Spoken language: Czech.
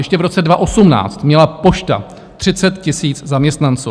Ještě v roce 2018 měla Pošta 30 000 zaměstnanců.